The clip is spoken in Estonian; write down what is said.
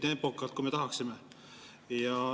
… nii tempokalt, kui me tahaksime.